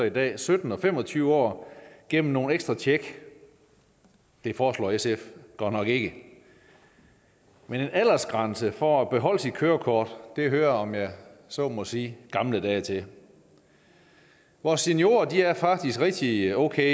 i dag sytten og fem og tyve år gennem nogle ekstra tjek det foreslår sf godt nok ikke men en aldersgrænse for at beholde sit kørekort hører om jeg så må sige gamle dage til vores seniorer er faktisk rigtig okay